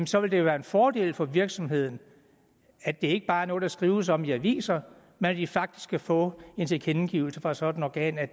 så vil det jo være en fordel for virksomheden at det ikke bare er noget der skrives om i aviserne men at de faktisk kan få en tilkendegivelse fra et sådant organ af